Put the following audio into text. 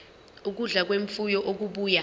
ukudla kwemfuyo okubuya